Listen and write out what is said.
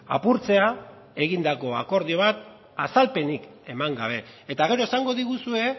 apurtzea egindako akordio bat azalpenik eman gabe eta gero esango diguzue